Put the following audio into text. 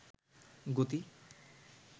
গতি